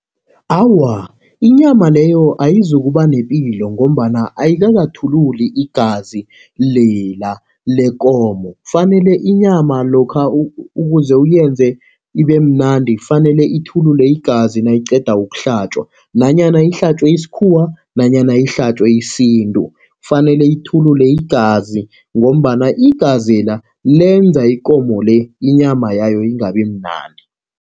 Awa, inyama leyo ayizukuba nepilo, ngombana ayikakathululi igazi lela lekomo. Kufanele inyama lokha ukuze uyenze ibe mnandi, kufanele ithulule igazi nayiqeda ukuhlatjwa nanyana ihlatjwe isikhuwa, nanyana ihlatjwe isintu. Kufanele ithulule igazi, ngombana igazela lenza ikomo le, inyama yayo ingabi mnandi.